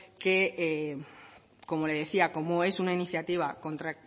como le decía como es una iniciativa contra